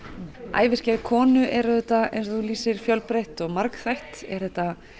æviskeið konu er auðvitað eins og þú lýsir fjölbreytt og margþætt er þetta